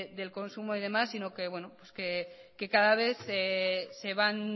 del consumo y demás que cada vez se van